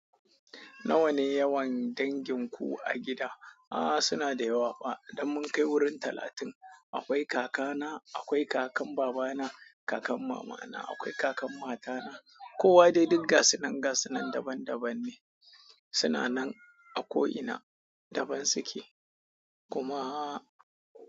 Nawa ne yawan dangin ku a gida? A'a, suna da yawa fa, idan mun kai wurin talatin, akwai kakana, akwai kakan babana, kakan mamana, akwai kakan matana. Kowa dai digga sinangasi nan daban-daban ne. Suna nan a ko ina daban suke. Kumaaa.